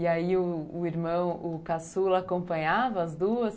E aí, o irmão, o caçula, acompanhava as duas?